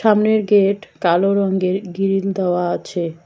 সামনের গেট কালো রঙ্গের গিরিল দেওয়া আছে।